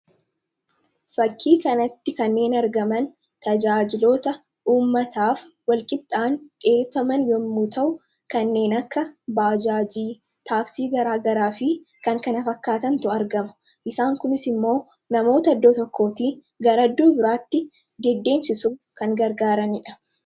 Fakkii kanatti kanneen argaman tajaajiloota uummataaf walqixa dhiyeeffaman yommuu ta'u, kanneen akka taaksii, baajaajii garaagaraa fi kan kana fakkaatantu argama. Isaan kunis immoo namoota iddoo tokkootii gara iddoo biraatti deddeemsisuuf kan gargaaranidha.